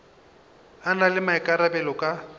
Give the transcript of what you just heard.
a na le maikarabelo ka